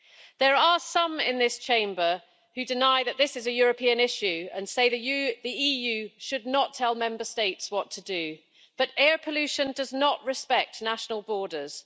There are some in this Chamber who deny that this is a European issue and say that the EU should not tell Member States what to do, but air pollution does not respect national borders.